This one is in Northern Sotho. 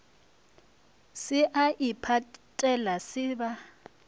se a iphatela ba se